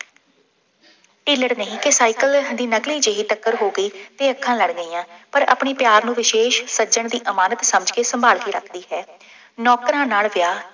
ਢਿੱਲੜ ਨਹੀਂ ਕਿ ਸਾਈਕਲ ਦੀ ਨਕਲੀ ਜਿਹੀ ਟੱਕਰ ਹੋ ਗਈ ਅਤੇ ਅੱਖਾਂ ਲੜ ਗਈਆਂ, ਪਰ ਆਪਣੇ ਪਿਆਰ ਨੂੰ ਵਿਸ਼ੇਸ਼ ਸੱਜਣ ਦੀ ਅਮਾਨਤ ਸਮਝ ਕੇ ਸੰਭਾਲ ਕੇ ਰੱਖਦੀ ਹੈ। ਨੌਕਰਾਂ ਨਾਲ ਵਿਆਹ